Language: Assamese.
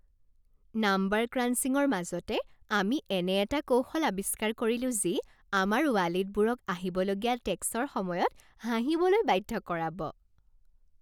নাম্বাৰ ক্ৰাঞ্চিংৰ মাজতে, আমি এনে এটা কৌশল আৱিস্কাৰ কৰিলো যি আমাৰ ৱালেটবোৰক আহিবলগীয়া টেক্সৰ সময়ত হাঁহিবলৈ বাধ্য কৰাব!